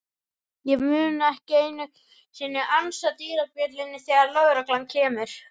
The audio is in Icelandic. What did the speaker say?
Ég mun ekki einu sinni ansa dyrabjöllunni þegar lögreglan kemur.